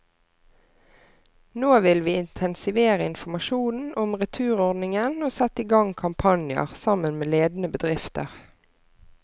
Nå vil vi intensivere informasjonen om returordningen og sette i gang kampanjer, sammen med ledende bedrifter.